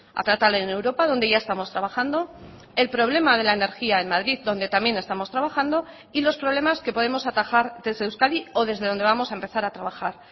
a tratar en europa donde ya estamos trabajando el problema de la energía en madrid donde también estamos trabajando y los problemas que podemos atajar desde euskadi o desde donde vamos a empezar a trabajar